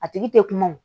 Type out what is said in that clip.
A tigi tɛ kuma o